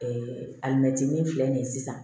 alimɛtinin filɛ nin ye sisan